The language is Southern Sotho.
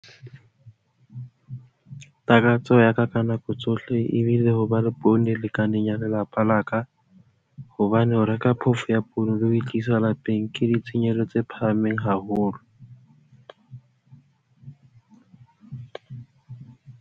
Takatso ya ka ka nako tsohle e bile ho ba le poone e lekaneng ya lelapa la ka hobane ho ya reka phofo ya poone le ho e tlisa lapeng ke ditshenyehelo tse phahameng haholo.